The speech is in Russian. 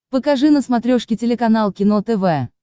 покажи на смотрешке телеканал кино тв